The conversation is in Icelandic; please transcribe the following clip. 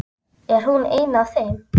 Er hún ein af þeim?